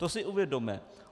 To si uvědomme.